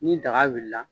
Ni daga wulila la